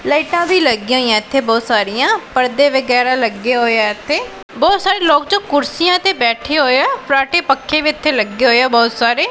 ਲਾਈਟਾਂ ਵੀ ਲੱਗੀਆਂ ਹੋਈਆਂ ਇੱਥੇ ਬਹੁਤ ਸਾਰੀਆਂ ਪਰਦੇ ਵਗੈਰਾ ਲੱਗੇ ਹੋਏ ਆ ਇੱਥੇ ਬਹੁਤ ਸਾਰੇ ਲੋਕ ਜੋ ਕੁਰਸੀਆਂ ਤੇ ਬੈਠੇ ਹੋਏ ਆ ਫਰਾਟੇ ਪੱਖੇ ਵੀ ਇੱਥੇ ਲੱਗੇ ਹੋਏ ਆ ਬਹੁਤ ਸਾਰੇ।